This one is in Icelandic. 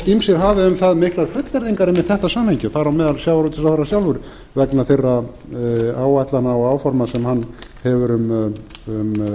ýmsir hafi um það miklar fullyrðingar einmitt þetta samhengi þar að meðal sjávarútvegsráðherra sjálfur vegna þeirra áætlana og áforma sem hann hefur um